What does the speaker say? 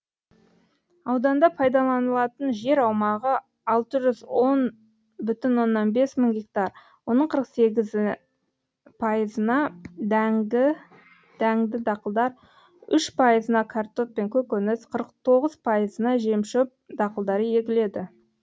ауданда пайдаланылатын жер аумағы алты жүз он оннан бес мың гектар оның қырық сегіз пайызына дәңді дақылдар үш пайызына картоп пен көкөніс қырық тоғыз пайызына жемшөп дақылдары егіледі